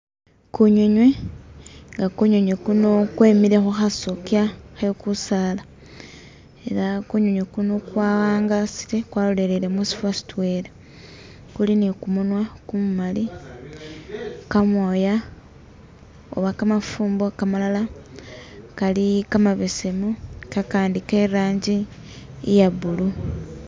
Kunyinywi nga kunyinywi kuno kwemile khukhasokya khe kusaala ela kunyinywi kuno kwawangasile kwalolelele musifo sitwela, kuli ni kumunwa kumumali, kamoya oba kamafumbo kamalala kali kamabesemu kakandi ke ranji iye blue